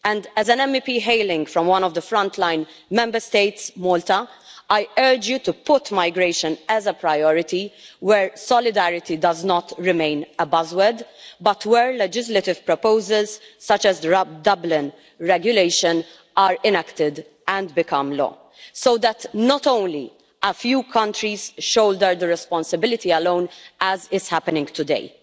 As an MEP hailing from one of the frontline Member States, Malta, I urge you to put migration as a priority, where solidarity does not remain a buzzword but where legislative proposals, such as the Dublin regulation, are enacted and become law so that not only a few countries shoulder the responsibility alone, as is happening today.